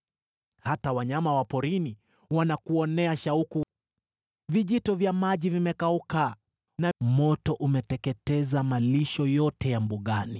Hata wanyama wa porini wanakuonea shauku; vijito vya maji vimekauka, na moto umeteketeza malisho yote ya mbugani.